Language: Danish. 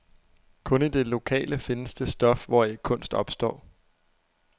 Kun i det lokale findes det stof, hvoraf kunst opstår.